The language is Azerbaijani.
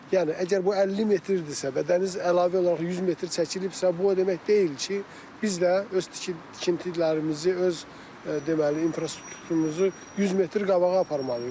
Yəni əgər bu 50 metrdirsə və dəniz əlavə olaraq 100 metr çəkilibsə, bu o demək deyil ki, biz də öz tikintilərimizi, öz deməli infrastrukturumuzu 100 metr qabağa aparmalıyıq.